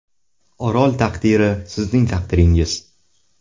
Orol taqdiri sizning taqdiringiz.